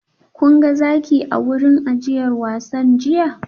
Kun ga zaki a wurin ajiyar wasan jiya?